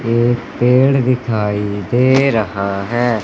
एक पेड़ दिखाई दे रहा हैं।